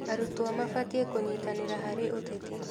Arutwo mabatiĩ kũnyitanĩra harĩ ũteti.